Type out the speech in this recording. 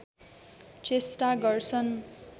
चेष्टा गर्छन्